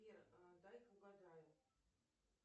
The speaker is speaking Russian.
сбер дай ка угадаю